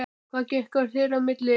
Hvað gekk á þeirra á milli?